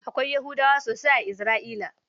Akwai Yahudawa sosai a Isra'ila.